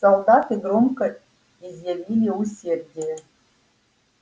солдаты громко изъявили усердие